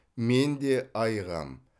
мен де айығамын